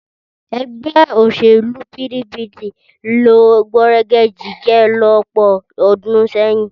Ẹgbẹ́ òṣèlú PDP ló gbọ̀nrẹ̀gẹ̀jigẹ̀ lọ́pọ̀ ọdún sẹ́yìn.